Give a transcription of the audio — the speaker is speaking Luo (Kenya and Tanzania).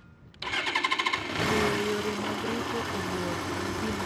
Ng'eyo yore mag rito ong'or en gima dwarore ahinya.